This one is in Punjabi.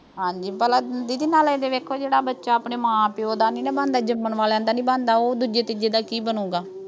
ਹਾਂਜੀ ਭਲਾ ਦੀਦੀ ਨਾਲੇ ਇਹ ਵੇਖੌ ਜਿਹੜਾ ਬੱਚਾ ਆਪਣੇ ਮਾਂ ਪਿਉ ਦਾ ਨਹੀਂ ਨਾ ਬਣਦਾ, ਜੰਮਣ ਵਾਲਿਆਂ ਦਾ ਨਹੀਂ ਬਣਦਾ, ਉਹ ਦੂਜੇ ਤੀਜੇ ਦਾ ਕੀ ਬਣੂੰਗਾ।